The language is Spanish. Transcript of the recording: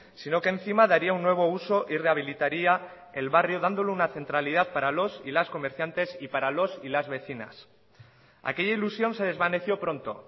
sino que encima daría un nuevo uso y rehabilitaría el barrio dándole una centralidad para los y las comerciantes y para los y las vecinas aquella ilusión se desvaneció pronto